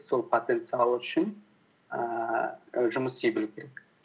сол потенциал үшін ііі жұмыс істей білу керек